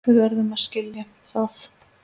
Við verðum að skilja það.